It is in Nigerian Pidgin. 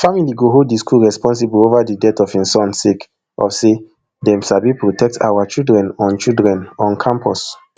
family go hold di school responsible ova di death of im son sake of say dem sabi protect our children on children on campus